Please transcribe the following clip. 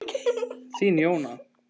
Þín, Jóna.